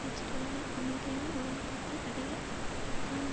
இஸ்ரேலுடன் அமைதியான உடன்பாட்டை அடைய தான்